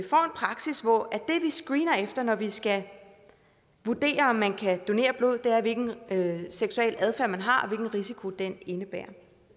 praksis hvor det vi screener efter når vi skal vurdere om man kan donere blod er hvilken seksuel adfærd man har og hvilken risiko den indebærer